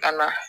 Ka na